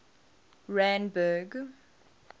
randburg